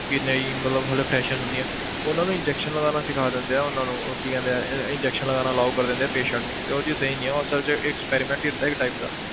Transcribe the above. ਕਿ ਨਹੀਂ ਮਤਲਬ ਹਾਲੇ fresher ਹੁੰਦੀਆਂ ਉਹਨਾਂ ਨੂੰ injection ਲਗਾਉਣਾ ਸਿੱਖਾ ਦਿੰਦੇ ਆ ਉਹਨਾਂ ਨੂੰ, ਉਹ ਕੀ ਕਹਿੰਦੇ ਆ injection ਲਗਾਉਣਾ allow ਕਰ ਦਿੰਦੇ ਆ patient ਨੂੰ ਤੇ ਉਹ ਚੀਜ਼ ਸਹੀ ਨੀ ਆ ਉਹ ਅਸਲ 'ਚ ਇੱਕ experiment ਹੀ ਹੁੰਦਾ ਇੱਕ type ਦਾ